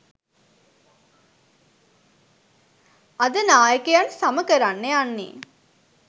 අද නායකයන් සම කරන්න යන්නෙ